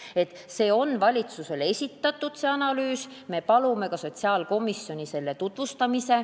See analüüs on valitsusele esitatud ja me palume, et seda ka sotsiaalkomisjonis tutvustataks.